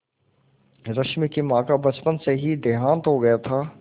रश्मि की माँ का बचपन में ही देहांत हो गया था